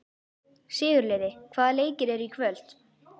Sigurliði, hvaða leikir eru í kvöld?